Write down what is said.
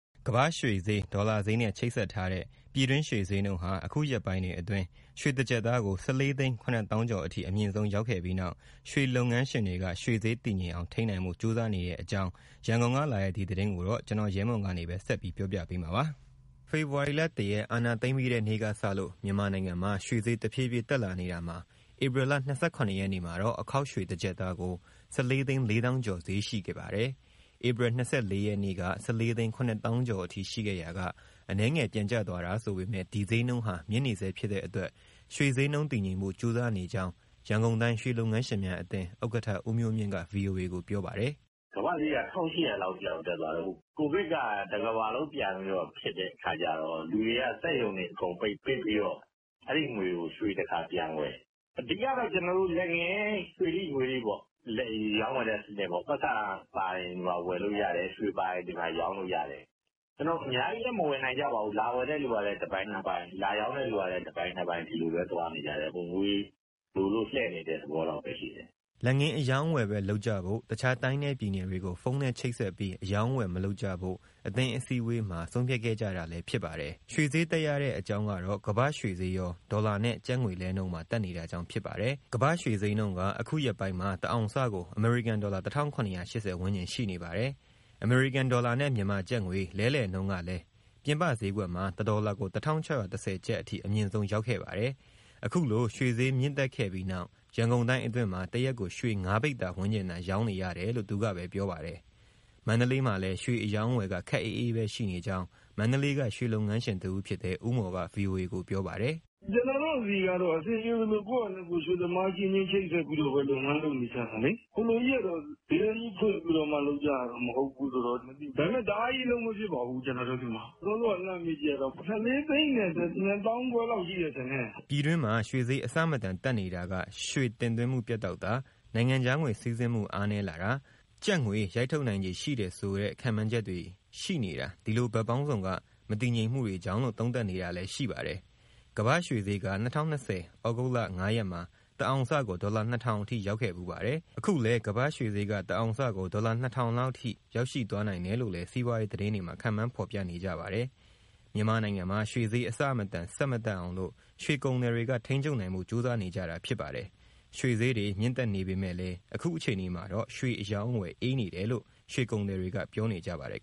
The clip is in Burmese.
ကမ္ဘာ့ရွှေဈေး၊ ဒေါ်လာဈေးနဲ့ ချိတ်ဆက်ထားတဲ့ ပြည်တွင်းရွှေဈေးနှုန်းဟာ အခုရက်ပိုင်းတွေအတွက် ရွှေတကျပ်သားကို ၁၄ သိန်း ၇ သောင်းကျော်အထိ အမြင့်ဆုံး ရောက်ခဲ့ပြီးနောက် ရွှေလုပ်ငန်းငန်းရှင်တွေက ရွှေဈေး တည်ငြိမ်အောင် ထိန်းနိုင်ဖို့ ကြိုးစားနေတဲ့အကြောင်း ရန်ကုန်က လာတဲ့ ဒီသတင်းကိုတော့ ဗွီအိုအေ မြန်မာပိုင်းသတင်းထောက် ကိုရဲမွန်က ပြောပြပေးမှာပါ။ ဖေဖော်ဝါရီလ ၁ ရက် အာဏာသိမ်းပြီးတဲ့နေ့ကစလို့ မြန်မာနိုင်ငံမှာ ရွှေဈေးတဖြည်းဖြည်းတက်လာနေတာမှာ ဧပြီလ ၂၇ ရက်နေ့မှာတော့ အခေါက်ရွှေတကျပ်သားကို ၁၄ သိန်း ၄ သောင်းကျော်ဈေးရှိခဲ့ပါတယ်။ ဧပြီ ၂၄ ရက်နေ့က ၁၄ သိန်း ၇ သောင်းကျော်အထိ ရှိခဲ့ရာက အနည်းငယ်ပြန်ကျသွားတာဆိုပေမဲ့ ဒီဈေးနှုန်းဟာ မြင့်နေဆဲဖြစ်တဲ့အတွက် ရွှေဈေးနှုန်းတည်ငြိမ်ဖို့ ကြိုးစားနေကြောင်း ရန်ကုန်တိုင်း ရွှေလုပ်ငန်းရှင်များအသင်း ဥက္ကဋ္ဌ ဦးမျိုးမြင့်က ဗွီအိုအေကို ပြောပါတယ်။ “ကမ္ဘာ့ရွှေဈေးက ၁၈၀၀ လောက်အထိ တက်သွားတော့… ကိုဗစ်က တကမ္ဘာလုံး ပြန်ဖြစ်တဲ့အခါကျတော့ လူတွေက စက်ရုံတွေအကုန်ပြန်ပိတ် ပိတ်ပြီးတော့ အဲဒီငွေကို ရွှေတခါပြန်ဝယ်၊ အဓိကတော့ လက်ငင်း ရွှေထိ၊ ငွေထိပေါ့ ရောင်းဝယ်တဲ့စနစ်၊ ပိုက်ဆံပါရင် ဒီမှာ ဝယ်လို့ရတယ်၊ ရွှေပါရင် ဒီမှာ ရောင်းလို့ရတယ်။ အများကြီးလည်း မဝယ်နိုင်ကြပါဘူး လာဝယ်တဲ့သူကလည်း တပိုင်နှစ်ပိုင် လာရောင်းတဲ့သူလည်း တပိုင်နှစ်ပိုင် ဒီလိုပဲသွားနေကြတယ်၊ ငွေလိုလို့ လှည့်နေတဲ့ သဘောလောက်ပဲရှိတယ်။” လက်ငင်းအရောင်းအဝယ်ပဲ လုပ်ကြဖို့၊ တခြားတိုင်းနဲ့ပြည်နယ်တွေကို ဖုန်းနဲ့ချိတ်ဆက်ပြီး အရောင်းအဝယ် မလုပ်ကြဖို့ အသင်းအစည်းအဝေးမှာ ဆုံးဖြတ်ခဲ့ကြတာဖြစ်ပါတယ်။ ရွှေဈေးတက်ရတဲ့ အကြောင်းကတော့ ကမ္ဘာ့ရွှေဈေးရော ဒေါ်လာနဲ့ကျပ်ငွေလဲနှုန်းပါ တက်နေတာကြောင့် ဖြစ်ပါတယ်။ ကမ္ဘာ့ရွှေဈေးနှုန်းက အခုရက်ပိုင်းမှာ တအောင်စကို အမေရိကန်ဒေါ်လာ ၁၇၈၀ ဝန်းကျင်ရှိနေပါတယ်။ အမေရိကန်ဒေါ်လာနဲ့ မြန်မာကျပ်ငွေ လဲလှယ်နှုန်းကလည်း ပြင်ပဈေးကွက်မှာ ၁ ဒေါ်လာကို ၁၆၁၀ ကျပ်အထိ အမြင့်ဆုံးရောက်ခဲ့ပါတယ်။ အခုလို ရွှေဈေးမြင့်တက်ခဲ့ပြီးနောက် ရန်ကုန်တိုင်းအတွင်းမှာ တရက်ကိုရွှေ ၅ ပိဿာ ဝန်းကျင်သာ ရောင်းနေရတယ်လို့ သူက ပြောပါတယ်။ မန္တလေးမှာလည်း ရွှေအရောင်းအဝယ်က ခပ်အေးအေးပဲရှိနေကြောင်း မန္တလေးက ရွှေလုပ်ငန်းရှင် တဦးဖြစ်တဲ့ ဦးမော်က ဗွီအိုအေကို ပြောပါတယ်။ “ကျနော်တို့ဆီကတော့ အဆင်ပြေသလို ကိုယ့်ဟာနဲ့ကိုယ် ရွှေသမားအချင်းချင်း ချိတ်ဆက်ပြီးတော့ လုပ်ငန်း လုပ်နေကြတာလေ။ ဈေးတန်းကြီး ဖွင့်ပြီးတော့မှ လုပ်ကြတာ မဟုတ်ဘူးဆိုတော့၊ ဒါပေမဲ့ တအားကြီး အလုပ်မဖြစ်ပါဘူး ကျနော်တို့ဆီမှာ။ စောစောက လှမ်းမေးကြည့်တာတော့ ၁၄၂၅၀၀၀ လောက်ရှိမယ် ထင်တယ်။” ပြည်တွင်းမှာ ရွှေဈေးအဆမတန် တက်နေတာက ရွှေတင်သွင်းမှုပြတ်တောက်တာ၊ နိုင်ငံခြားငွေ စီးဆင်းမှုအားနည်းလာတာ၊ ကျပ်ငွေရိုက်ထုတ်နိုင်ခြေ ရှိတယ်ဆိုတဲ့ ခန့်မှန်းချက်တွေ ရှိနေတာ ဒီလိုဘက်ပေါင်းစုံက မတည်ငြိမ်မှုတွေကြောင့်လို့ သုံးသပ်နေတာလည်း ရှိပါတယ်။ကမ္ဘာ့ရွှေဈေးက ၂၀၂၀ ဩဂုတ်လ ၅ ရက်မှာ တအောင်စကို ဒေါ်လာ ၂၀၀၀ အထိရောက်ခဲ့ဖူးပါတယ်။ အခုလည်း ကမ္ဘာ့ရွှေဈေးက တအောင်စကို ဒေါ်လာ ၂၀၀၀ လောက် ထိရောက်ရှိ သွားနိုင်တယ်လို့လည်း စီးပွားရေးသတင်းတွေမှာ ခန့်မှန်းဖော်ပြနေကြပါတယ်။ မြန်မာနိုင်ငံမှာ ရွှေဈေး အဆမတန် ဆက် မတက်အောင်လို့ ရွှေကုန်သည်တွေက ထိန်းချုပ်နိုင်ဖို့ ကြိုးစားနေကြတာဖြစ်ပါတယ်။ ရွှေဈေးတွေ မြင့်တက်နေပေမဲ့လည်း အခုအခြေအနေမှာတော့ ရွှေအရောင်းအဝယ် အေးနေတယ်လို့ ရွှေကုန်သည်တွေက ပြောနေကြပါတယ်